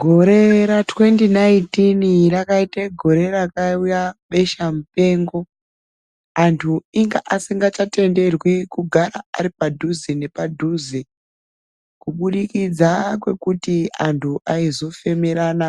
Gore ra 2019 rakaita gore rakauya besha mupengo antu inga asingachatenderwi kugara ari padhuze nepadhuze kubudikidza kwekuti antu aizofemerana